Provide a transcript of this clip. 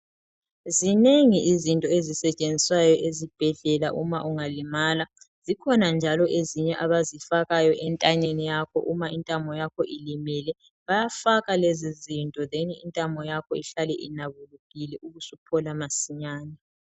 Zinengi izinto ezisetshenziswayo ezibhedlela uma ungalimala. Zikhona njalo ezinye abazifakayo entanyeni yakho intamo yakho ilimele, bayafaka lezizinto then intamo yakho ihlale inabulukile ubusuphola masinyane.